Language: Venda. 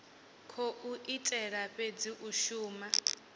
khou itela fhedzi u shuma